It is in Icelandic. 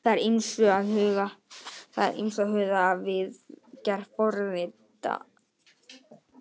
Það er að ýmsu að huga við gerð forrita.